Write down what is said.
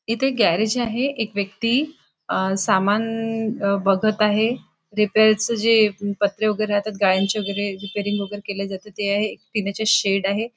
इथ एक गॅरेज आहे एक व्यक्ति अ सामान बघत आहे रिपेअर च जे पत्रे वैगेरे राहतात गाड्यांचे वैगेरे रिपेरिंग केले जाते ते आहे एक पिण्याचे शेड आहे.